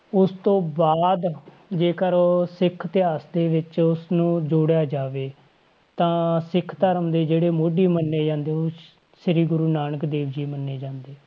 ਉਸ ਤੋਂ ਬਾਅਦ ਜੇਕਰ ਸਿੱਖ ਇਤਿਹਾਸ ਦੇ ਵਿੱਚ ਉਸਨੂੰ ਜੋੜਿਆ ਜਾਵੇ, ਤਾਂ ਸਿੱਖ ਧਰਮ ਦੇ ਜਿਹੜੇ ਮੋਢੀ ਮੰਨੇ ਜਾਂਦੇ ਆ ਉਹ ਸ੍ਰੀ ਗੁਰੂ ਨਾਨਕ ਦੇਵ ਜੀ ਮੰਨੇ ਜਾਂਦੇ ਆ,